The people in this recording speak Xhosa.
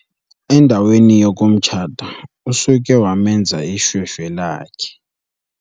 Endaweni yokumtshata usuke wamenza ishweshwe lakhe.